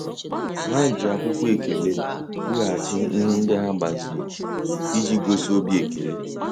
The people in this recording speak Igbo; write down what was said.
Ha ji akwụkwọ ekele weghachi ihe ndị ha gbaziri iji gosi obi ekele.